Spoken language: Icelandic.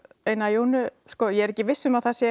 eina jónu ég er ekki viss um að það sé